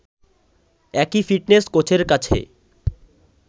একই ফিটনেস কোচের কাছে